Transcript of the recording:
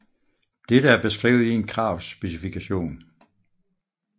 Dette er beskrevet i en kravspecifikation